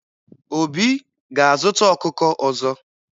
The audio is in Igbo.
Obi ga-azụta ọkụkọ ọzọ.